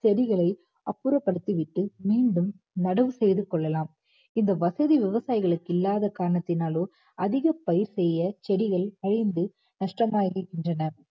செடிகளை அப்புறப்படுத்திவிட்டு மீண்டும் நடவு செய்து கொள்ளலாம் இந்த வசதி விவசாயிகளுக்கு இல்லாத காரணத்தினாலோ அதிக பயிர் செய்ய செடியை கஷ்டமாகின்றனர்